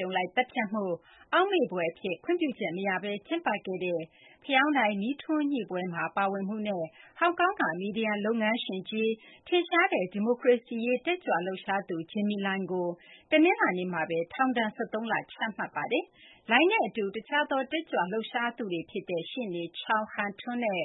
ြုံလိုက် သတ်ဖြတ်မှု အောက်မေ့ဖွယ် အဖြစ် ခွင့်ပြုချက် မရဘဲ ကျင်းပခဲ့တဲ့ ဖယောင်းတိုင်မီးထွန်းညှိပွဲမှာ ပါဝင်မှုနဲ့ ဟောင်ကောင်က မီဒီယာ လုပ်ငန်းရှင်ကြီး ထင်ရှားတဲ့ ဒီမိုကရေစီရေး တက်ကြွလှုပ်ရှားသူ ကို တနလာၤနေ့မှာဘဲ ထောင်ဒဏ် ၁၃ လ ချမှတ်လိုက်ပါတယ်။ Lai နဲ့ အတူ တခြားသော တက်ကြွလှုပ်ရှားသူတွေ ဖြစ်တဲ့ ရှေ့နေ Chow Hang Tung နဲ့